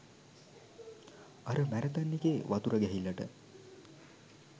අර මැරතන් එකේ වතුර ගැහිල්ලට